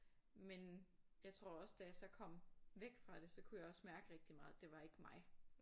Men jeg tror også da jeg så kom væk fra det så kunne jeg også mærke rigtig meget at det var ikke mig